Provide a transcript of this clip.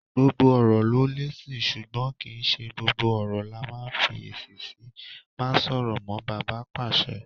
Gbogbo ọ̀rọ̀ ló lésì, ṣùgbọ́n kì í ṣe gbogbo ọ̀rọ̀ là ńf'èsì sí. Má sọ̀rọ̀ mọ́! bàbá pàṣẹ.